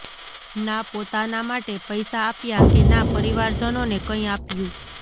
ના પોતાના માટે પૈસા આપ્યા કે ના પરિવારજનોને કંઈ આપ્યું